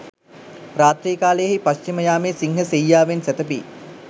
රාත්‍රී කාලයෙහි පශ්චිම යාමේ සිංහ සෙයියාවෙන් සැතපී